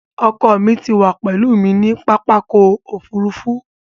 Ọkọ mí wà pèlú mi ní pápákọ̀ ofúrufú